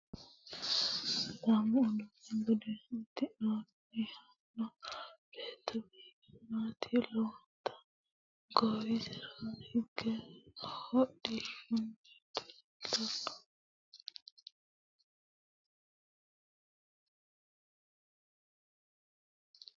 Sidaamu budu uddano udidhino beetto biiffanoti lowonta goowiserano diigo wodhitinoti leeltanno isera badheenni higge duucha dana afidhino wonbarra leelitanni no